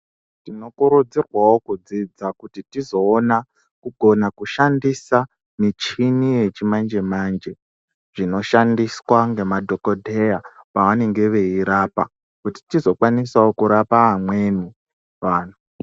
Tinokurudzirwawo kudzidza kuti tizoona kukona kushandisa michini yechimanje- manje ,dzinoshandiswa ngemadhokodheya pavanenge veirapa, kuti tizokwanisa kurapawo amweni antu.